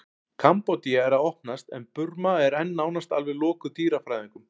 kambódía er að opnast en burma er enn nánast alveg lokuð dýrafræðingum